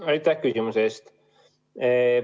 Aitäh küsimuse eest!